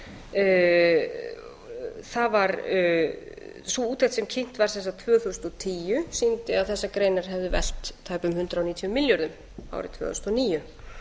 sig á það var sú úttekt sem kynnt var sem sagt tvö þúsund og tíu sýndi að þessar greinar hefðu velt tæpum hundrað níutíu milljörðum árið tvö þúsund og níu